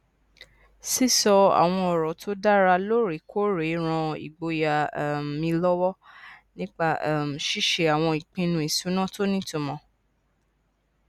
sísọ àwọn ọrọ tó dára lóòrèkóòrè ran ìgboyà um mi lọwọ nípa um ṣíṣe àwọn ìpinnu ìṣúná tó nítumọ